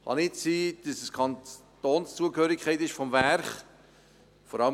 es kann nicht sein, dass es die Kantonszugehörigkeit des Werkes ist.